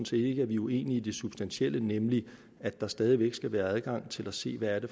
set ikke at vi er uenige i det substantielle nemlig at der stadig væk skal være adgang til at se hvad det